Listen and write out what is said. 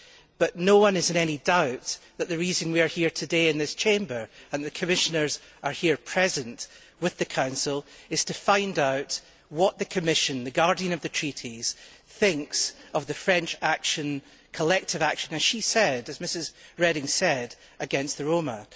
But no one is in any doubt that the reason we are here today in this Chamber, and that the Commissioners are here present with the Council, is to find out what the Commission, the guardian of the treaties, thinks of the French collective action as Mrs Reding said against the Roma.